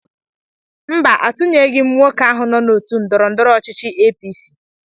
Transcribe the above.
Mba, atụnyeghị m nwoke ahụ nọ n'otu ndọrọndọrọ ọchịchị APC.